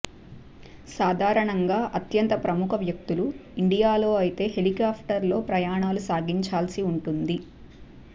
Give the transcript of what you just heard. సాధారణంగా అత్యంత ప్రముఖ వ్యక్తులు ఇండియాలో అయితే హెలికాప్టర్లలో ప్రయాణాలు సాగించాల్సి ఉంటుంది